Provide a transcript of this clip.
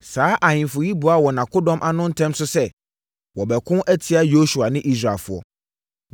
Saa ahemfo yi boaa wɔn akodɔm ano ntɛm so sɛ wɔbɛko atia Yosua ne Israelfoɔ.